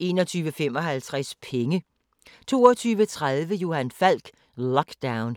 21:55: Penge 22:30: Johan Falk: Lockdown